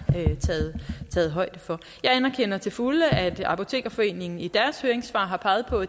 taget højde for jeg anerkender til fulde at apotekerforeningen i deres høringssvar har peget på